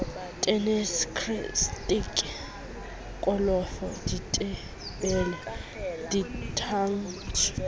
tenese krikete kolofo ditebele ditantshe